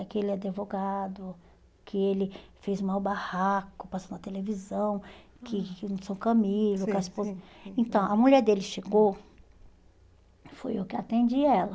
Aquele advogado, que ele fez o maior o barraco, passou na televisão, que que o São Camilo, que a esposa... Então, a mulher dele chegou, fui eu que atendi ela.